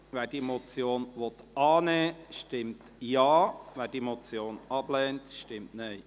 Wer diese Motion annehmen will, stimmt Ja, wer diese ablehnt, stimmt Nein.